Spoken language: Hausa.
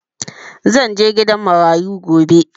Zan je gidan marayu gobe.